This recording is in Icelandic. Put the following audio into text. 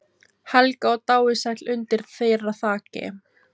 Helga og dáið sæll undir þeirra þaki.